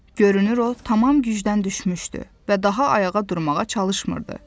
Görünür o tamam gücdən düşmüşdü və daha ayağa durmağa çalışmırdı.